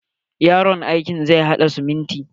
Yaron aikin zai haɗa simintin.